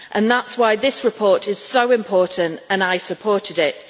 That is why this report is so important and I supported it.